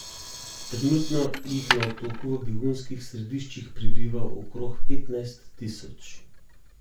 Trenutno jih na otoku v begunskih središčih prebiva okrog petnajst tisoč.